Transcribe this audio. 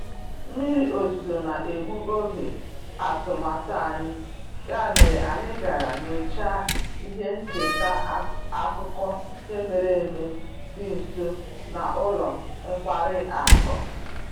Mmiri ozuzo na-egbu oge atụmatụ anyị, ya mere anyị gara nyochaa ihe ncheta akụkọ ihe mere eme dị nso na ụlọ nkwari akụ